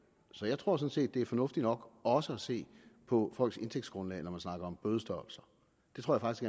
så jeg tror sådan set det er fornuftigt nok også at se på folks indtægtsgrundlag når man snakker om bødestørrelser det tror